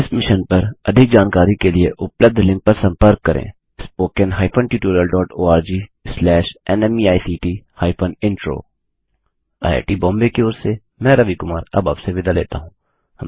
इस मिशन पर अधिक जानकारी के लिए उपलब्ध लिंक पर संपर्क करें httpspoken tutorialorgNMEICT Intro IIT Bombay की ओर से मैं रवि कुमार अब आपसे विदा लेता हूँ